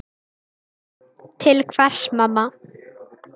Til hvers mamma?